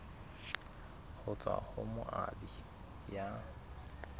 ho tswa ho moabi ya